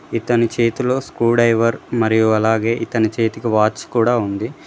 ఇతని చేతిలో స్క్రూడ్రైవర్ మరియు అలాగే ఇతని చేతికి వాచ్ కూడా ఉంది.